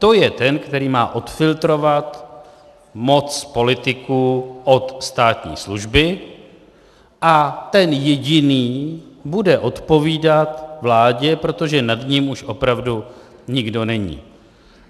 To je ten, který má odfiltrovat moc politiků od státní služby, a ten jediný bude odpovídat vládě, protože nad ním už opravdu nikdo není.